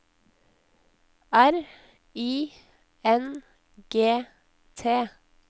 R I N G T